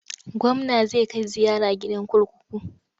Gwamna zai kai ziyara gidan kurkuku.